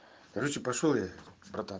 короче пошёл я братан